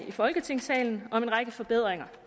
i folketingssalen om en række forbedringer